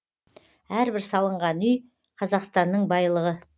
әрбір салынған үй қазақстанның байлығы